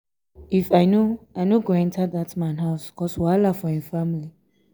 if i no i no go enter dat man house cause wahala for im family.